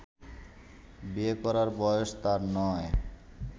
বিয়ের করার বয়স তার নয়